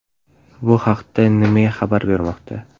Bu haqda NME xabar bermoqda .